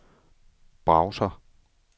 browser